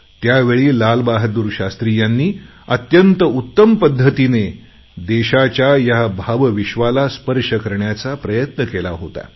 त्यावेळी लालबहादूर शास्त्री यांनी एका अत्यंत उत्तम पद्धतीने देशाच्या ह्या भावविश्वाला स्पर्श करण्याचा प्रयत्न केला होता